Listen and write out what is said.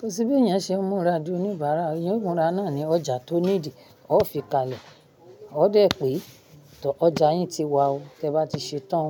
Kò sí bí èèyàn ṣe ó múra dé oníbàárà, èèyàn múra náà ni ọjà tó nídìí, ó fi kalẹ̀, ó dẹ̀ pé, tó ọjà yín ti wà ó, tí ẹ bá ti ṣetán,